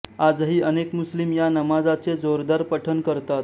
आजही अनेक मुस्लिम या नमाजचे जोरदार पठण करतात